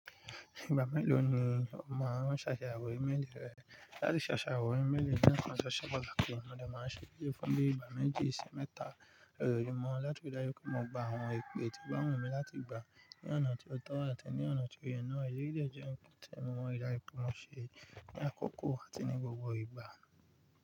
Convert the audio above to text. Ìgbà mélòó ni o máa ń ṣàyewọ̀ íméelì rẹ? Láti ṣàṣàwọ̀ ímeélì je nnkàn tó ṣe pataki, mo dè máa n ṣèléyii fún bí i ìgbà méjì ṣi mẹ́ta lójoojúmọ́ láti rí i dájú pé mo gba àwọn ipè tí o ba wunmi láti gbà ní ọ̀nà tí ó tọ́ àti ní ọ̀nà tí ó yẹ náà. Èyí dè jẹ́ nnkan tí mọ like lati máa ń ṣe ní àkókò àti ní gbogbo ìgbà.